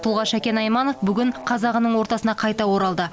тұлға шәкен айманов бүгін қазағының ортасына қайта оралды